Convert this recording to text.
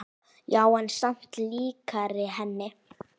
Já, en samt líkari henni.